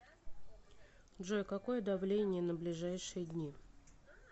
джой какое давление на ближайшие дни